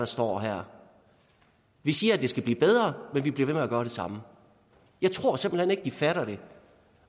står her vi siger at det skal blive bedre men vi bliver at gøre det samme jeg tror simpelt hen ikke de fatter det